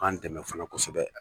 B'an dɛmɛ fana kosɛbɛ.